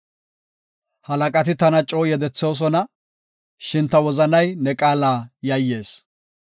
Halaqati tana coo yedethoosona; shin ta wozanay ne qaala yayyees.